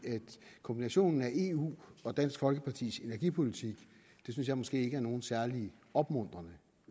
kombinationen af eu og dansk folkepartis energipolitik synes jeg måske ikke er nogen særlig opmuntrende